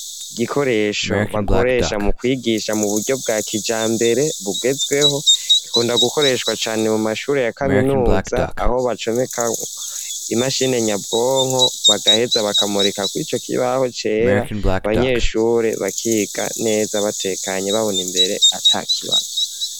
Gikoresho bakoresha mu kwigisha ,mu buryo bwakijambere bugezweho , gikunda gukoreshwa cane mu mashuri ya kaminuza ,aho bacomeka imashini nyabwonko ,bagaheza bakamurika kwico kibaho cera ,Abanyeshuri bakiga neza batekanye babona imbere atakibazo.